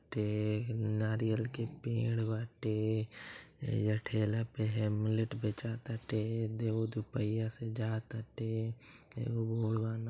ते नारियल के पेड़ बाटे एहिजा ठेला पे हेमलेट बेचा ताटे देव दुपहिया से जा ता टे एगो बूढ़ बानअ।